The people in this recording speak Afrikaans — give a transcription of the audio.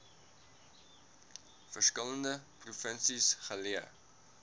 verskillende provinsies geleë